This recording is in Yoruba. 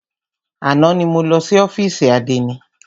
Àná ni mo lọ sí ófìsì àdénì.